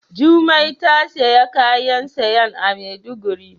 Jumai ta siya kayan sayan a maiduguri.